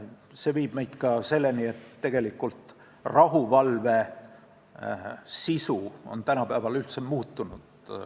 See viib meid selleni, et rahuvalve sisu on tänapäeval üldse muutunud.